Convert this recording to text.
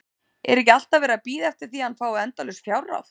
Er ekki alltaf verið að bíða eftir því að hann fái endalaus fjárráð?